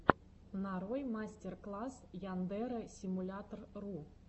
нарой мастер класс яндэрэ симулятор ру